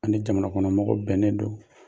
An' ni jamanakɔnɔmɔgɔw bɛnnen don.